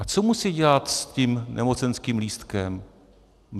A co musí dělat s tím nemocenským lístkem?